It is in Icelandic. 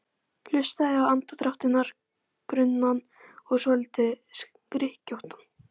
Hlustaði á andardrátt hennar, grunnan og svolítið skrykkjóttan.